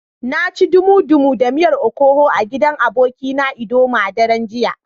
Na ci dumu-dumu da miyar okoho a gidan abokina na idoma a daren jiya.